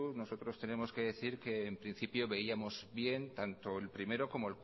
nosotros tenemos que decir que en principio veíamos bien tanto el primero como